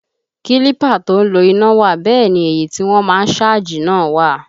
Kílípà tó ń lo iná wà bẹ́ẹ̀ ni èyí tí wọ́n má ń sáàjì náà wà